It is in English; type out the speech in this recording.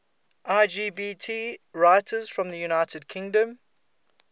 lgbt writers from the united kingdom